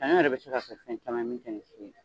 yɛrɛ bɛ se ka fɛn caman ye min tɛ nin si ye